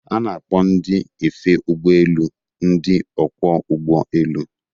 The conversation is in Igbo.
A na-akpọ ndị efe ụgbọ elu ndị ọkwọ ụgbọ elu..